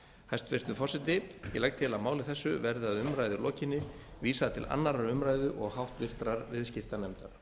hæstvirtur forseti ég legg til að máli þessu verði að umræðu lokinni vísað til annarrar umræðu og háttvirtur viðskiptanefndar